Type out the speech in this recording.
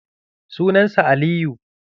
Sunan sa Aliyu.